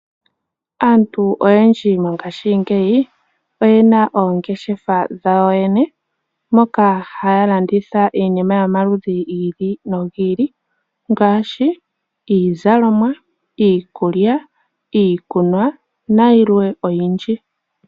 Aantu oyendji mongashingeyi oyena oongeshefa dhawo mono haya landitha iinima yomaludhi gi ili nogi ili mono haya landitha iikulya, iikunwa, iizalomwa nayilwe oyindji.